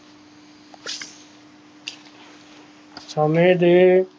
ਸਮੇ ਦੇ